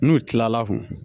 N'u kilala kun